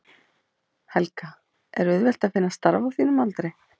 Helga: Er auðvelt að finna starf á þínum aldri?